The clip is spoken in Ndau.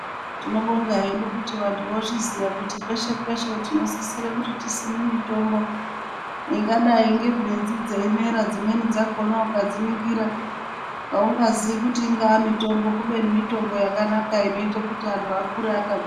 Tinobonga hedu kuti vantu vozviziya kuti peshe peshe tinosisire kuti tisime mitombo ingadai ngebhinzi dzeimera dzimweni dzakona ukadziningira aungaziyi kuti mitombo kubeni mitombo yakanaka inoite kuti antu akure akagwinya.